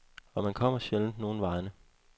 Og man kommer sjældent nogen vegne.